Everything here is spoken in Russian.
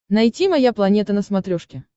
найти моя планета на смотрешке